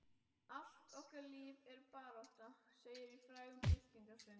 Allt okkar líf er barátta segir í frægum byltingarsöng.